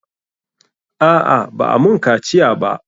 A'a, ba'a mun kaciya ba.